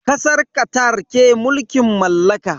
Kasar Qatar ke mulkin mallaka.